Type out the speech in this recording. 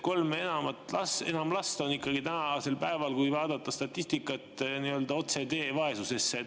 Kolm ja enam last on tänasel päeval, kui vaadata statistikat, nii-öelda otsetee vaesusesse.